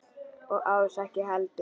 Og Ása ekki heldur.